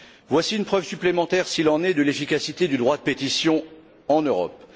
Voici une preuve supplémentaire, s'il en est, de l'efficacité du droit de pétition en Europe.